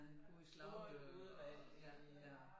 God i slagter og ja